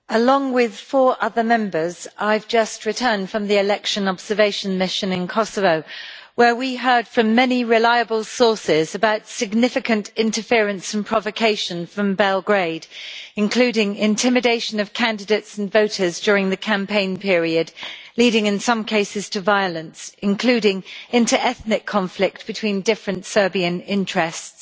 Mr President, along with four other Members, I have just returned from the Election Observation Mission in Kosovo, where we heard from many reliable sources about significant interference and provocation from Belgrade, including intimidation of candidates and voters during the campaign period, leading in some cases to violence, including inter ethnic conflict between different Serbian interests.